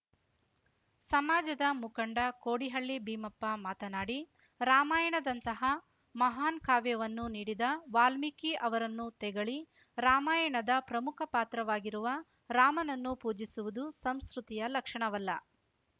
ಸಮಾಜದ ಮುಖಂಡ ಕೋಡಿಹಳ್ಳಿ ಭೀಮಪ್ಪ ಮಾತನಾಡಿ ರಾಮಾಯಣದಂತಹ ಮಹಾನ್‌ ಕಾವ್ಯವನ್ನು ನೀಡಿದ ವಾಲ್ಮೀಕಿ ಅವರನ್ನು ತೆಗಳಿ ರಾಮಾಯಣದ ಪ್ರಮುಖ ಪಾತ್ರವಾಗಿರುವ ರಾಮನನ್ನು ಪೂಜಿಸುವುದು ಸಂಸ್ಕೃತಿಯ ಲಕ್ಷಣವಲ್ಲ